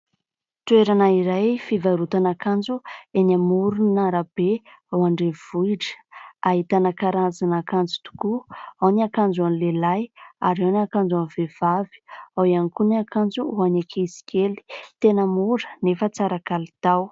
Toerana iray fivarotana akanjo eny amoron'arabe ao an-drenivohitra. Ahitana karazan'akanjo tokoa : ao ny akanjo ho an'ny lehilahy ary ao ny akanjo ho an'ny vehivavy. Ao ihany koa ny akanjo ho an'ny ankizy kely. Tena mora nefa tsara kalitao.